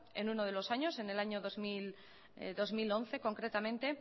en uno de los años en el año dos mil once concretamente